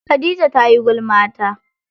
Khadija tayi gulma ta.